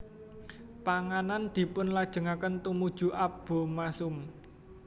Panganan dipunlajengaken tumuju abomasum